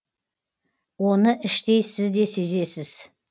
оны іштей сіз де сезесіз